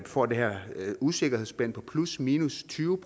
får det her usikkerhedsspænd på plusminus tyve